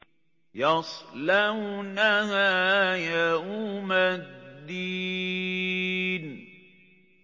يَصْلَوْنَهَا يَوْمَ الدِّينِ